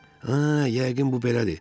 Hə, yəqin bu belədir.